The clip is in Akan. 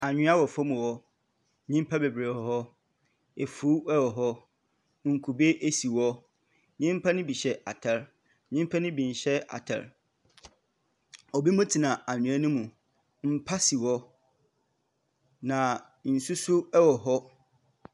Anwea wɔ fam hɔ. Nyimpa bebiree wɔ hɔ, efuu wɔ hɔ, nkube si hɔ. Nyimpa no bi hyɛ ataare, nyimpa no bi nhyɛ ataare. Obinom tena anwea no mu. Mpa si hɔ, na nsu nso wɔ hɔ.